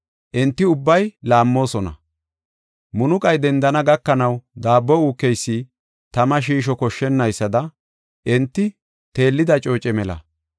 Enti ubbay laammoosona; munuqay dendana gakanaw daabbo uukeysi tama shiisho koshshonaysada enti teellida cooce mela.